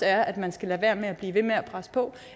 at man skal lade være med at blive ved med at presse på